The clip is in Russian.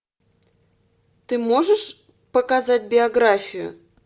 ты можешь показать биографию